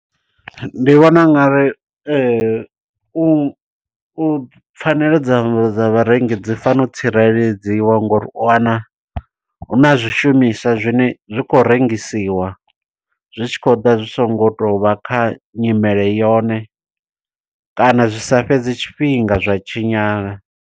Ndi vhona u ngari u u pfanelo dza dza vharengi dzi fane tsireledziwa ngo uri, u wana huna zwishumiswa zwine zwi khou rengisiwa. Zwi tshi khou ḓa zwi songo to vha kha nyimele yone, kana zwi sa fhedze tshifhinga zwa tshinyala.